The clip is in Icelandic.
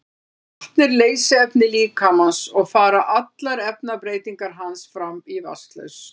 vatn er leysiefni líkamans og fara allar efnabreytingar hans fram í vatnslausn